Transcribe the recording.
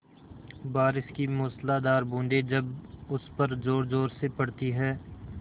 बारिश की मूसलाधार बूँदें जब उस पर ज़ोरज़ोर से पड़ती हैं